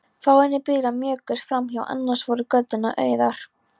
Fáeinir bílar mjökuðust framhjá, annars voru göturnar auðar.